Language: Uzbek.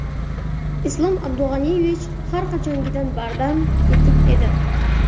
Islom Abdug‘aniyevich har qachongidan bardam, tetik edi.